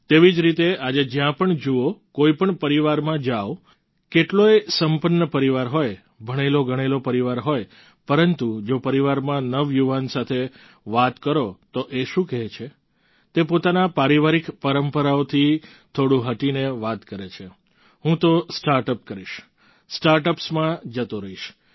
તેવી જ રીતે આજે જ્યાં પણ જુઓ કોઈપણ પરિવારમાં જાઓ કેટલોયે સંપન્ન પરિવાર હોય ભણેલોગણેલો પરિવાર હોય પરંતુ જો પરિવારમાં નવયુવાન સાથે વાત કરો તો એ શું કહે છે તે પોતાના પારિવારિક પરંપરાઓથી થોડું હટીને વાત કરે છે હું તો સ્ટાર્ટઅપ કરીશ સ્ટાર્ટઅપ્સમાં જતો રહીશ